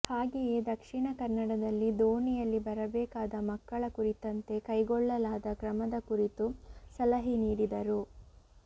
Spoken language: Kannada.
ಹಾಗೆಯೇ ದಕ್ಷಿಣ ಕನ್ನಡದಲ್ಲಿ ದೋಣಿಯಲ್ಲಿ ಬರಬೇಕಾದ ಮಕ್ಕಳ ಕುರಿತಂತೆ ಕೈಗೊಳ್ಳಲಾದ ಕ್ರಮದ ಕುರಿತು ಸಲಹೆ ನೀಡಿದರು